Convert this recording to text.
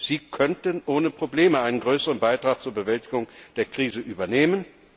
Sie könnten ohne Probleme einen größeren Beitrag zur Bewältigung der Krise übernehmen.